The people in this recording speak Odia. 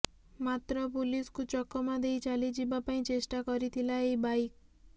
ମାତ୍ର ପୋଲିସକୁ ଚକମା ଦେଇ ଚାଲିଯିବା ପାଇଁ ଚେଷ୍ଟା କରିଥିଲା ଏହି ବାଇକ